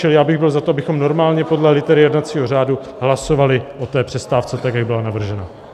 Čili já bych byl za to, abychom normálně podle litery jednacího řádu hlasovali o té přestávce tak, jak byla navržena.